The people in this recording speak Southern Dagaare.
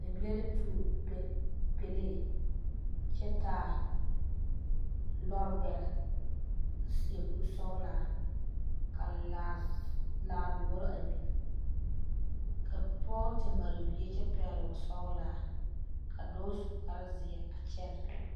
Bibile la tuo pɛle, kyɛ taa lɔre gbɛre a seɛ kuri sɔglaa ka laa doɔre a biŋ ka pɔge te mare bie kyɛ pɛgele wɔ sɔglaa ka dɔɔ su kparre zeɛ a kyɛne